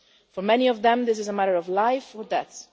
For many of them, this is a matter of life or death.